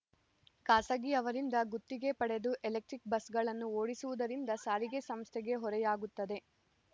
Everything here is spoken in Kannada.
ಖಾಸಗಿಯವರಿಂದ ಗುತ್ತಿಗೆ ಪಡೆದು ಎಲೆಕ್ಟ್ರಿಕ್ ಬಸ್‌ಗಳನ್ನು ಓಡಿಸುವುದರಿಂದ ಸಾರಿಗೆ ಸಂಸ್ಥೆಗೆ ಹೊರೆಯಾಗುತ್ತದೆ